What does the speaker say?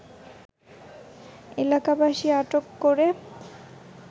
এলাকাবাসী আটক করে